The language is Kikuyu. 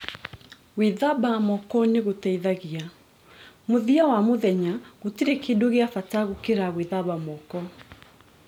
Gwĩthamba moko nĩgũteithagia "Mũthia wa mũthenya gũtirĩ kĩndũ gĩa bata gũkĩra gwĩthamba moko